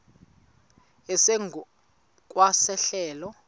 esingu kwa sehlelo